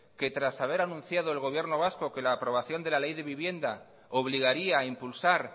que tras haber anunciado el gobierno vasco que la aprobación de la ley de vivienda obligaría a impulsar